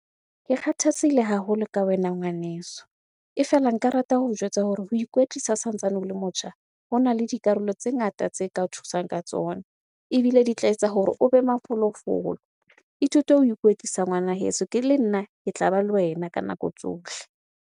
Ke kgathatsehile haholo ka wena ngwaneso. E fela nka rata ho jwetsa hore ho ikwetlisa o santsane o le motjha, hona le dikarolo tse ngata tse ka thusang ka tsona ebile di tla etsa hore o be mafolofolo. Ithute ho ikwetlisa ngwana heso, le nna ke tlaba le wena ka nako tsohle.